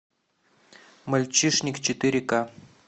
мальчишник четыре ка